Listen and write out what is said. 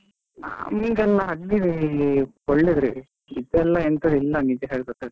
ಈಗೆಲ್ಲ ಹಳ್ಳಿ ಒಳ್ಳೆದ್ರಿ, ಇದೆಲ್ಲ ಎಂತದಿಲ್ಲ ನಿಜ ಹೇಳಬೇಕಾದರೆ.